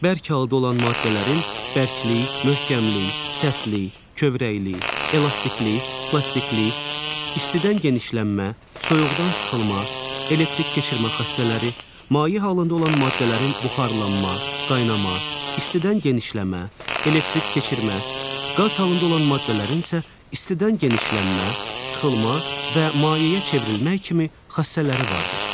Bərk halda olan maddələrin bərklik, möhkəmlik, sərtlik, kövrəklik, elastiklik, plastiklik, istidən genişlənmə, soyuqdan sıxılma, elektrik keçirmə xassələri, maye halında olan maddələrin buxarlanma, qaynama, istidən genişlənmə, elektrik keçirmə, qaz halında olan maddələrin isə istidən genişlənmə, sıxılma və mayeyə çevrilməyi kimi xassələri vardır.